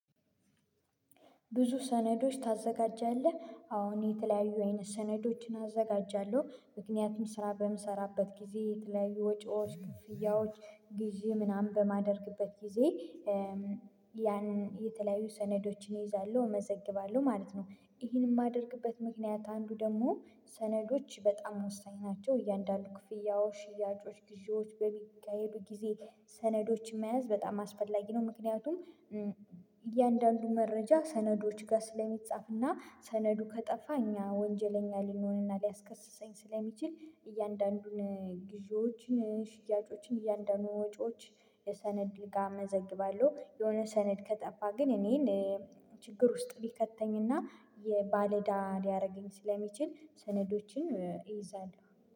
ብዙ ሰነዶች ታዘጋጃለህ አዎ የተለያዩ አይነት ሰነዶችን አዘጋጃለሁ ምክንያቱም ስራ በምሰራበት ጊዜ የተለያዩ ወጪዎች ክፍያዎች ግዢ ምናምን በማደርግበት ጊዜ እ እም ያን የተለያዩ ሰነዶችን እይዛለሁ እመዘግባለሁ ማለት ነው። ይሄንን የማደርግበት ምክንያት አንዱ ደግሞ ሰነዶች በጣም ወሳኝ ናቸው እያንዳንዱ ክፍያዎች ሽያጮች ግዢዎች በሚካሄዱ ጊዜ ሰነዶችን መያዝ በጣም አስፈላጊ ነው። ምክንያቱም እም እያንዳንዱ መረጃ ሰነዶች ጋር ስለሚጻፍና ሰነዱ ከጠፋ እኛ ወንጀለኛ ሊንሆና ሊያስከስሰኝ ስለሚችል እያንዳንዱን ግዢዎችን ሽያጮችን እያንዳንዱን ወጪዎች የሰነድ ጋር መዘግባለሁ የሆነ ሰነድ ከጠፋ ግን እኔን እእ ችግር ውስጥ ቢከተኝና የባለዳ ሊያረገኝ ስለሚችል ሰነዶችን እ እይዛለሁ